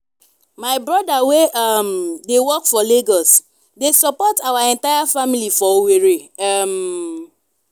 my brother wey um dey work for lagos dey support our entire family for owerri. um